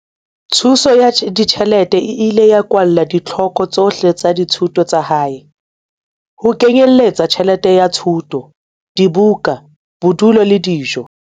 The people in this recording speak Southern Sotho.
Thuso ya ditjhelete e ile ya kwala ditlhoko tsohle tsa dithuto tsa hae, ho kenyeletsa tjhelete ya thuto, dibuka, bodulo le dijo.